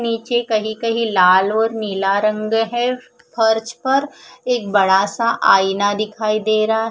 निचे कहि कहि लाल और नीला रंग है फर्श पर एक बड़ा सा आइना दिखाई दे रहा--